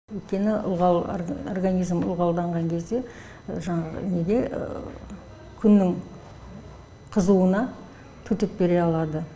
өйткені ылғал организм ылғалданған кезде жаңағы неге күннің қызуына төтеп бере алады